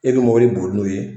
E bɛ mɔbili boli n'o ye.